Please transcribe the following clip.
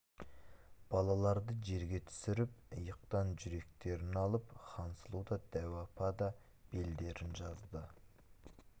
балаларды жерге түсіріп иықтан жүктерін алып хансұлу да дәу апа да белдерін жазды